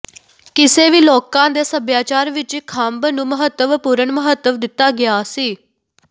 ਕਿਸੇ ਵੀ ਲੋਕਾਂ ਦੇ ਸਭਿਆਚਾਰ ਵਿਚ ਖੰਭ ਨੂੰ ਮਹੱਤਵਪੂਰਣ ਮਹੱਤਵ ਦਿੱਤਾ ਗਿਆ ਸੀ